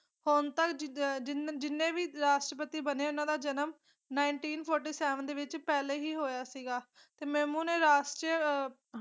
ਹੁਣ ਤਕ ਜਜ ਜਿੰਨੇ ਵੀ ਰਾਸ਼ਟਰਪਤੀ ਬਣੇ ਊਨਾ ਦਾ ਜਨਮ ਨਾਏੰਟੀਨ ਫੋਟੀ ਸੈਵਨ ਦੇ ਵਿਚ ਪਹਿਲੇ ਹੀ ਹੋਇਆ ਸੀਗਾ ਤੇ ਮੇਰੁਮੁ ਨੇ ਰਾਸ਼ਟਰੀਯ ਆਹ